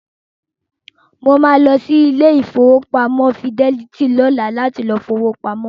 Mo máa lọ sí ilé ìfowópamọ́ Fidelity lọ́la láti lọ fi owó pamọ́.